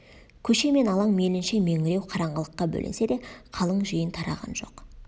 көше мен алаң мейлінше меңіреу қараңғылыққа бөленсе де қалың жиын тараған жоқ